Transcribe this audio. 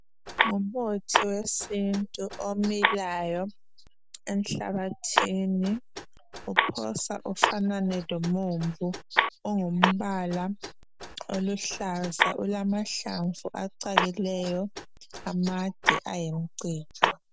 Ngumuthi wesintu omilayo enhlabathini. Uphosa ufanane lomumbu. Ungumbala oluhlaza ulamahlamvu acakileyo amade ayimcijo.